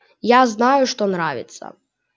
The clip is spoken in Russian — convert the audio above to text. я знаю что нравится